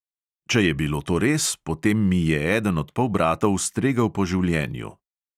Če je bilo to res, potem mi je eden od polbratov stregel po življenju.